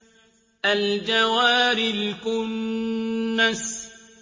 الْجَوَارِ الْكُنَّسِ